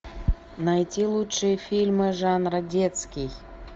найти лучшие фильмы жанра детский